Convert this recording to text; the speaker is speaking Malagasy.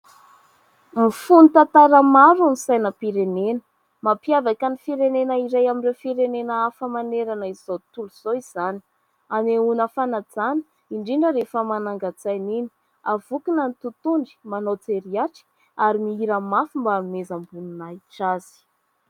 mifono tantara maro ny sainam-pirenena, mampiavaka ny firenena iray amin'ireo firenena hafa manerana izao tontolo zao izany. Hanehoana fanajana indrindra rehefa manangan-tsaina iny. Avonkina ny totohondry, manao jery atrika ary mihira mafy mba hanomezam-boninahitra azy.